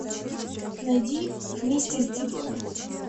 найди вместе с дидлами